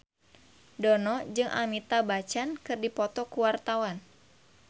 Dono jeung Amitabh Bachchan keur dipoto ku wartawan